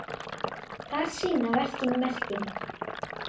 Þar sýna verkin merkin.